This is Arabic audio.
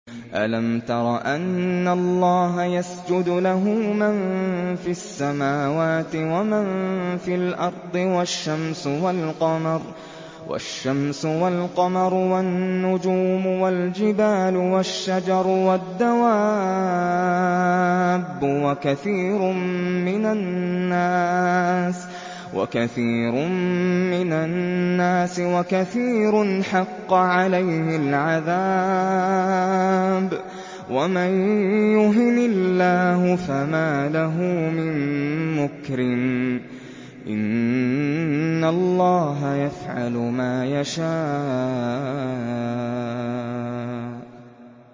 أَلَمْ تَرَ أَنَّ اللَّهَ يَسْجُدُ لَهُ مَن فِي السَّمَاوَاتِ وَمَن فِي الْأَرْضِ وَالشَّمْسُ وَالْقَمَرُ وَالنُّجُومُ وَالْجِبَالُ وَالشَّجَرُ وَالدَّوَابُّ وَكَثِيرٌ مِّنَ النَّاسِ ۖ وَكَثِيرٌ حَقَّ عَلَيْهِ الْعَذَابُ ۗ وَمَن يُهِنِ اللَّهُ فَمَا لَهُ مِن مُّكْرِمٍ ۚ إِنَّ اللَّهَ يَفْعَلُ مَا يَشَاءُ ۩